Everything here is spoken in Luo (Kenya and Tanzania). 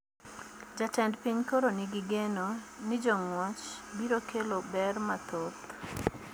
Jatend piny koro ni gi geno ni jongwech biro kelo ber mathoth